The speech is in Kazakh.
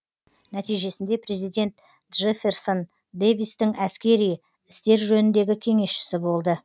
нәтижесінде президент джефферсон дэвистің әскери істер жөніндегі кеңесшісі болды